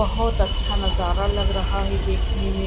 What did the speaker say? बहुत अच्छा नज़ारा लग रहा है देखने में।